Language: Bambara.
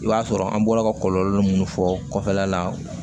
I b'a sɔrɔ an bɔla ka kɔlɔlɔ minnu fɔ kɔfɛla la